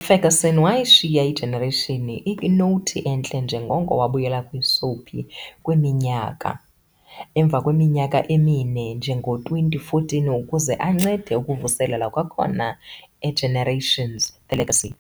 UFerguson wayishiya iGenerations ikwinowuthi entle njengoko wabuyela kwisoapie kwiminyaka "iG"emvakweminyaka emine, ngo-2014, ukuze ancede ukuvuselela kwakhona "eGenerations- The Legacy" .